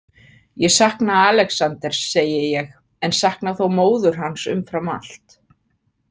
Ég sakna Alexanders, segi ég, en sakna þó móður hans umfram allt.